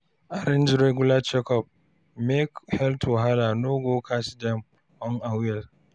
Arrange regular checkup make health wahala no go catch dem unawares.